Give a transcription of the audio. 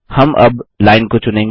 हम अब लाइन को चुनेंगे